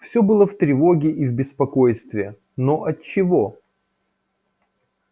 все было в тревоге и в беспокойстве но отчего